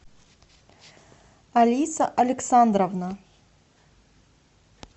алиса александровна